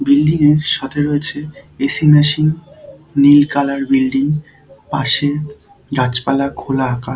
building -এর সাথে রয়েছে এ.সি মেশিন নীল কালার বিল্ডিং পাশে গাছপালা খোলা আকা--